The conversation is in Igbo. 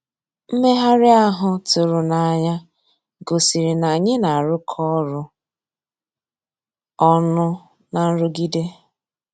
Mmèghàrị́ ahụ́ tụ̀rụ̀ n'ànyá gosìrí ná ànyị́ ná-àrụ́kọ ọ́rụ́ ọnụ́ ná nrụ̀gídé.